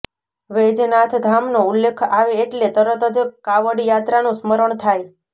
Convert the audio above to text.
વૈજનાથધામનો ઉલ્લેખ આવે એટલે તરત જ કાવડયાત્રાનું સ્મરણ થાય